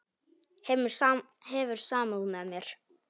Hefur samúð með mér.